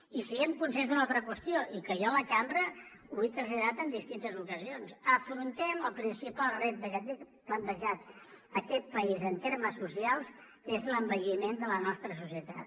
i siguem conscients d’una altra qüestió i que jo a la cambra ho he traslladat en distintes ocasions afrontem el principal repte que té plantejat aquest país en termes socials que és l’envelliment de la nostra societat